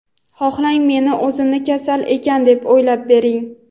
Xohlang meni o‘zimni kasal ekan deb o‘ylab bering.